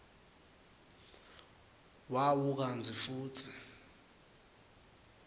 wawo kantsi futsi